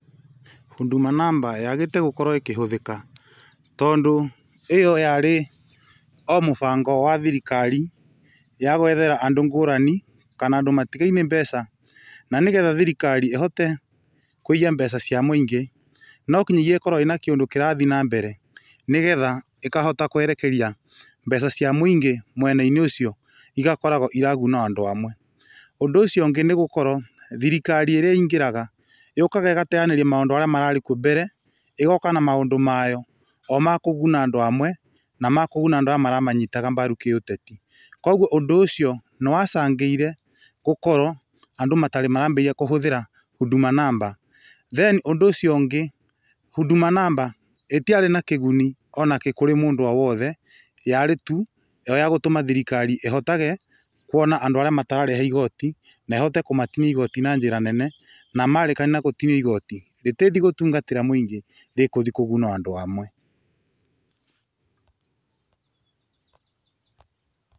Huduma namba yaagĩte gũkorwo ĩkĩhũthĩka tondũ ĩyo yarĩ o mũbango wa thirikari, ya gwethera andũ ngũrani kana andũ matigaĩne mbeca na nĩgetha thirikari ĩhote kũiya mbeca cĩa mũingĩ, no kinyagia ĩkorwo na kĩndũ kĩrathiĩ na mbere nĩgetha ĩkahota kwerekeria mbeca cia mũingĩ mwena-inĩ ũcio, igakoragwo iraguna o andũ amwe. Ũndũ ũcio ũngĩ nĩ gũkorwo thirikari ĩrĩa ĩingĩraga, yũkaga ĩgateyanĩria maũndũ arĩa mararĩ kuo mbere, ĩgoka na maũndũ mayo, o ma kũguna andũ amwe, na ma mũgũnda andũ arĩa maramanyitaga mbaru kĩ-uteti. Koguo ũndũ ũcio, nĩwa angĩire gukorwo andũ matarĩ maraambĩrĩria kũhũthira huduma namba. Then ũndũ ũcio ũngĩ, huduma namba ĩtiarĩ na kĩguni ona kĩ kũrĩ mũndũ o wothe, yarĩ tu o yagũtũma thirikari ĩhotage kuona o andũ arĩa matararĩha igoti, na ĩhote kumatinagia igoti na njĩra nene, na marĩkania na kũmatinia igoti, rĩtithiĩ gũtungatĩra mũingĩ, rĩkuthi kũguna o andũ amwe.